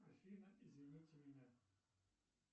афина извините меня